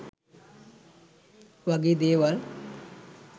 වගේ දේවල්